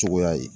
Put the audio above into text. Cogoya ye